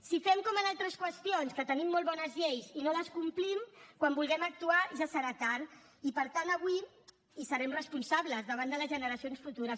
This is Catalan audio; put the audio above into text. si fem com en altres qüestions que tenim molt bones lleis i no les complim quan vulguem actuar ja serà tard i en serem responsables davant de les generacions futures